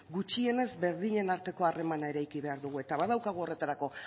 gutxienez berdinen arteko harremana eraiki behar dugu eta badaukagu horretarako